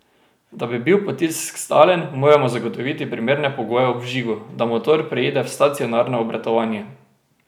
Da bi bil potisk stalen, moramo zagotoviti primerne pogoje ob vžigu, da motor preide v stacionarno obratovanje.